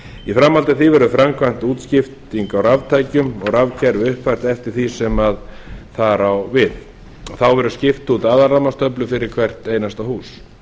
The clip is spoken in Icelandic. í framhaldi af því verður framkvæmt útskipting á raftækjum og rafkerfi uppfært eftir því sem þar á við þá verður skipt út aðalrafmagnstöflu fyrir hvert einasta hús